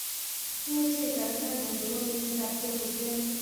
Imuche itoreton anyor twalutietab tebutioni